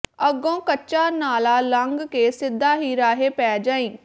ਅਗੋਂ ਕੱਚਾ ਨਾਲਾ ਲੰਘ ਕੇ ਸਿੱਧਾ ਹੀ ਰਾਹੇ ਪੈ ਜਾਈ